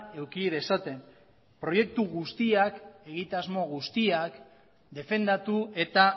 eduki dezaten proiektu guztiak defendatu eta